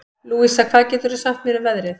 Louisa, hvað geturðu sagt mér um veðrið?